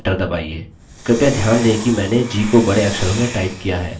कृपया ध्यान दें कि मैंने g को बड़े अक्षरों में टाइप किया है